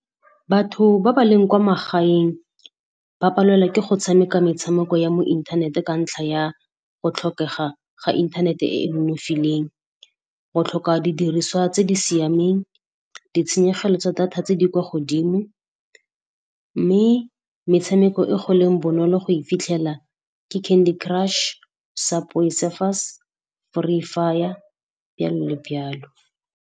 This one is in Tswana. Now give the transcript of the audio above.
Batho ba ba leng kwa magaeng ba palelwa ke go tshameka metshameko ya mo inthanete ka ntlha ya go tlhokega ga inthanete e e nonofileng, go tlhoka didiriswa tse di siameng, ditshenyegelo tsa data tse di kwa godimo, mme metshameko e go leng bonolo go e fitlhela ke Candy Crush, Subway Surfers, Free Fire, jalo le jalo.